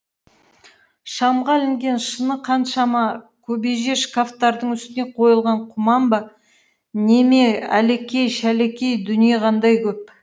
шамға ілінген шыны қаншама кебеже шкафтардың үстіне қойылған құман ба не ме әлекей шәлекей дүние қандай көп